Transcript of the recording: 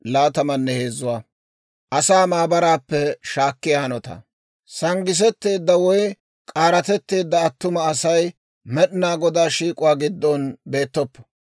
«Sanggisetteedda woy k'aaratetteedda attuma asay, Med'inaa Godaa shiik'uwaa giddon beettoppo.